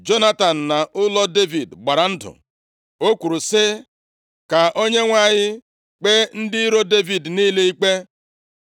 Jonatan na ụlọ Devid gbara ndụ. O kwuru sị, “Ka Onyenwe anyị kpee ndị iro Devid niile ikpe.”